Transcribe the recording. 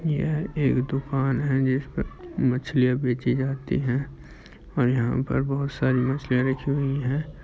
यह एक दुकान है जिस पर मछलियाँ बेचीं जाती है और यहाँ पर बहुत सारी मछलियाँ रखी हुई हैं।